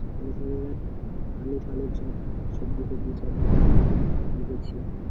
আলোর ফালোর সব সবজি ফবজি সব এ করছি